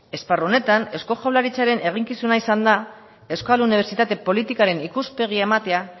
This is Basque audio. esparru honetan eusko jaurlaritzaren eginkizuna izan da euskal unibertsitate politikaren ikuspegia ematea